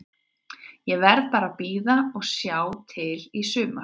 Ég verð bara að bíða og sjá til í sumar.